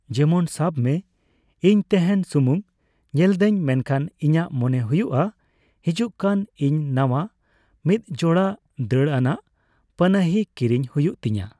ᱡᱮᱢᱚᱱ ᱥᱟᱵᱢᱮ, ᱤᱧ ᱛᱮᱦᱮᱧ ᱥᱩᱢᱩᱝ ᱧᱮᱞᱮᱫᱟᱹᱧ, ᱢᱮᱱᱠᱷᱟᱱ ᱤᱧᱟᱹᱜ ᱢᱚᱱᱮ ᱦᱩᱭᱩᱜᱼᱟ ᱦᱮᱡᱩᱜᱠᱟᱱ ᱤᱧ ᱱᱟᱣᱟ ᱢᱤᱫᱡᱚᱲᱟ ᱫᱟᱹᱲᱟᱱᱟᱜ ᱯᱟᱱᱟᱦᱤ ᱠᱤᱨᱤᱧ ᱦᱩᱭᱩᱜ ᱛᱤᱧᱟᱹ ᱾